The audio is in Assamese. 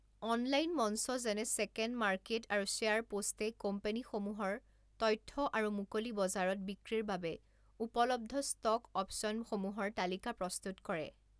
অনলাইন মঞ্চ যেনে ছেকেণ্ড মাৰ্কেট আৰু শ্বেয়াৰ পোষ্টে কোম্পানীসমূহৰ তথ্য আৰু মুকলি বজাৰত বিক্ৰীৰ বাবে উপলব্ধ ষ্টক অপ্চনসমূহৰ তালিকা প্ৰস্তুত কৰে।